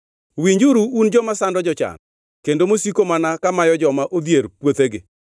Winjuru un joma sando jochan, kendo mosiko mana kamayo joma odhier puothegi,